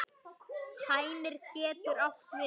Hænir getur átt við